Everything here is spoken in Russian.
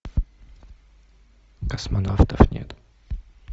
космонавтов нет